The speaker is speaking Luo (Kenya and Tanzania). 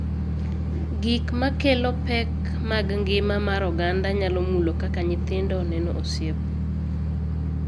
Gik ma kelo pek mag ngima mar oganda nyalo mulo kaka nyithindo neno osiep,